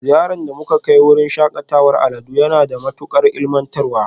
Ziyarar da muka kai wurin shakatawar al'adu na da matukar ilmantarwa